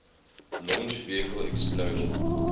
launch vehicle explosion